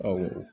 Ɔ